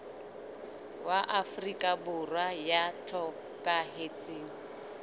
wa afrika borwa ya hlokahetseng